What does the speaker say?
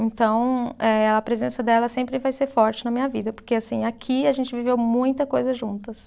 Então, eh a presença dela sempre vai ser forte na minha vida, porque, assim, aqui a gente viveu muita coisa juntas.